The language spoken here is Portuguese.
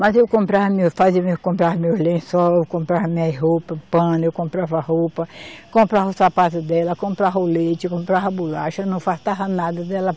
Mas eu comprava meus, fazia o meu, comprava meus lençol, comprava minhas roupa, pano, eu comprava roupa, comprava os sapato dela, comprava o leite, comprava bolacha, não faltava nada dela.